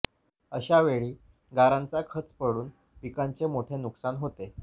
अशावेळी गारांचा खच पडून पिकांचे मोठे नुकसान होते